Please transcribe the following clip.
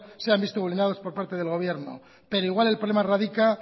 se han visto vulnerados por parte del gobierno pero igual el problema radica